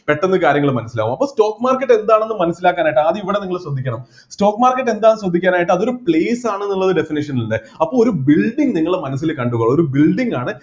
പെട്ടെന്ന് കാര്യങ്ങൾ മനസ്സിലാവും അപ്പോ stock market എന്താണെന്ന് മനസ്സിലാക്കാനായിട്ട് ആദ്യം ഇവിടെ നിങ്ങൾ ശ്രദ്ധിക്കണം stock market എന്താണെന്ന് ചോദിക്കാനായിട്ട് അത് ഒരു place ആണെന്നുള്ളത് definition ലില്ലേ അപ്പൊ ഒരു building നിങ്ങളെ മനസ്സിൽ കണ്ടു ഒരു building കാണ